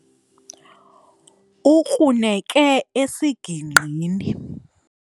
Ukruneke esigingqini.